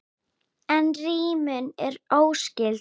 En rímunin er ekki óskyld.